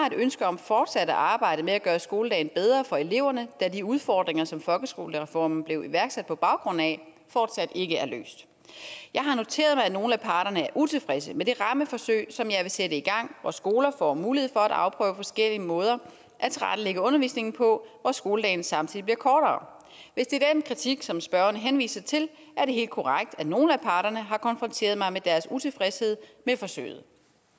et ønske om fortsat at arbejde med at gøre skoledagen bedre for eleverne da de udfordringer som folkeskolereformen blev iværksat på baggrund af fortsat ikke er løst jeg har noteret mig at nogle af parterne er utilfredse med det rammeforsøg som jeg vil sætte i gang hvor skoler får mulighed for at afprøve forskellige måder at tilrettelægge undervisningen på og hvor skoledagen samtidig bliver kortere hvis det er den kritik som spørgeren henviser til er det helt korrekt at nogle af parterne har konfronteret mig med deres utilfredshed med forsøget